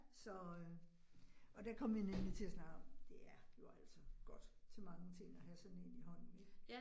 Så øh og der kom vi nemlig til at snakke om, det er jo altså godt til mange ting at have sådan en i hånden ik